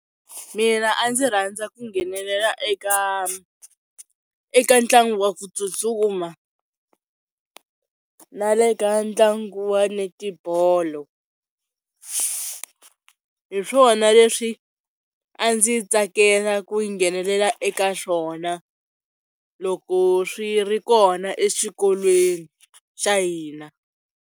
Mina a ndzi rhandza ku nghenelela eka eka ntlangu wa ku tsutsuma na le ka ntlangu wa netibolo, hi swona leswi a ndzi tsakela ku nghenelela eka swona loko swi ri kona exikolweni xa hina.